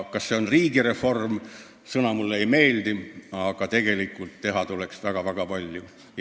Kas see on just riigireform – see sõna mulle ei meeldi –, aga teha tuleks väga-väga palju.